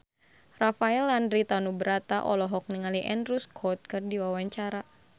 Rafael Landry Tanubrata olohok ningali Andrew Scott keur diwawancara